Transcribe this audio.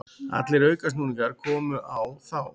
Allir aukasnúningar komu á þá.